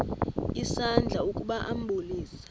isandla ukuba ambulise